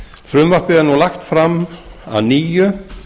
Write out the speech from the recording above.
frumvarpið er nú lagt fram að nýju